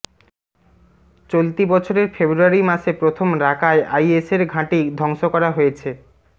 চলতি বছরের ফেব্রুয়ারি মাসে প্রথম রাকায় আইএসের ঘাঁটি ধংস করা হয়েছে